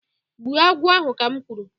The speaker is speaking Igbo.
Gbuo agwụ ahụ ka m kwuru.